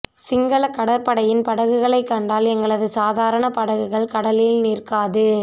சிங்களக் கடற்படையின் படகுகளைக் கண்டால் எங்களது சாதாரண படகுகள் கடலில் நிற்காது